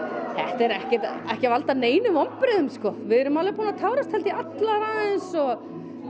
prinsessubrúðkaup þetta er ekki ekki að valda neinum vonbrigðum við erum alveg búnar að tárast held ég allar aðeins og